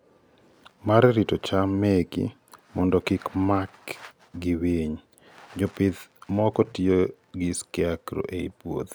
mar rito cham meki mondo kik maki gi winy, jopith moko tiyo gi scarecrows ei puothe